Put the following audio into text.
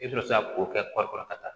I bɛ sɔrɔ ka k'o kɛ kɔɔri kɔrɔ ka taa